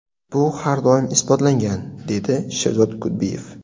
Bu har doim isbotlangan”, deydi Sherzod Kudbiyev.